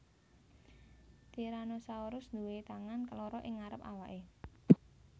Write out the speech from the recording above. Tyrannosaurus duwé tangan loro ing ngarep awake